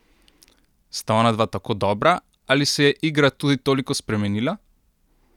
Sta onadva tako dobra ali se je igra tudi toliko spremenila?